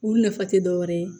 Olu nafa tɛ dɔ wɛrɛ ye